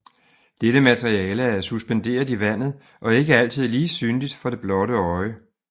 Dette materiale er suspenderet i vandet og ikke altid lige synligt for det blotte øje